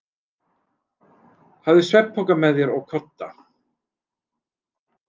Hafðu svefnpoka með þér og kodda.